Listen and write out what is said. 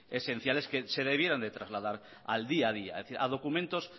esenciales que se debieran de trasladar al día a día a documentos